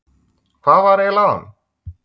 Hvað var eiginlega að honum?